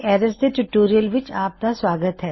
arrays ਦੇ tutorial ਵਿੱਚ ਤੁਹਾਡਾ ਸਵਾਗਤ ਹੈ